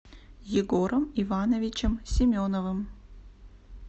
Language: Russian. егором ивановичем семеновым